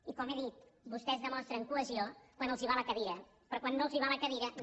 i com he dit vostès demostren cohesió quan els hi va la cadira però quan no els hi va la cadira no